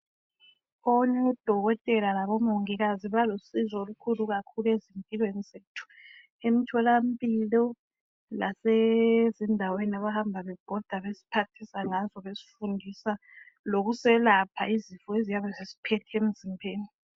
ODokotela labo Mongikazi balusizo kakhulu ezimpilweni zethu. Emtholampilo lasezindaweni abahamba bebhoda besiphathisa ngazo besifundisa lokuselapha izifo eziyabe zisiphethe emzimbeni.